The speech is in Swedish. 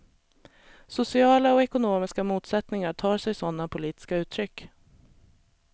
Sociala och ekonomiska motsättningar tar sig sådana politiska uttryck.